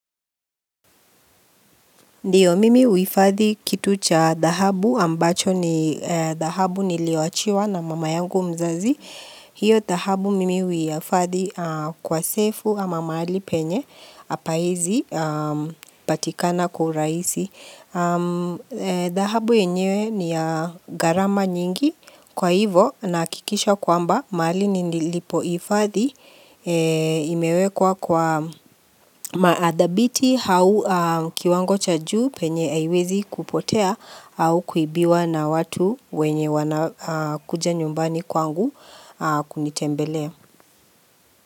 Ndiyo mimi huifadhi kitu cha dhahabu ambacho ni dhahabu niliyowachiwa na mama yangu mzazi. Hiyo dhahabu mimi huihifadhi kwa sefu ama mahali penye hapawezi patikana kwa uhurahisi. Dhahabu yenyewe ni gharama nyingi kwa hivo nahakikisha kwamba mahali nilipoihifadhi. Imewekwa kwa maadhabiti hau kiwango cha juu penye haiwezi kupotea au kuibiwa na watu wenye wana kuja nyumbani kwangu kunitembelea.